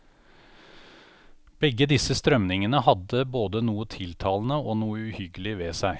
Begge disse strømningene hadde både noe tiltalende og noe uhyggelig ved seg.